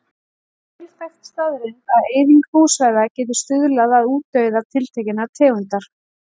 Það er vel þekkt staðreynd að eyðing búsvæða getur stuðlað að útdauða tiltekinnar tegundar.